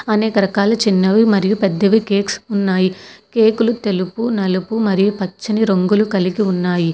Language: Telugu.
అనేక రకాలు చిన్నవి మరియు పెద్దవి కేక్స్ ఉన్నాయి కేకులు తెలుగు నలుపు మరియు పచ్చని రంగులు కలిపి ఉన్నాయి.